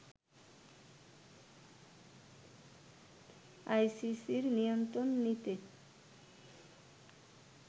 আইসিসির নিয়ন্ত্রণ নিতে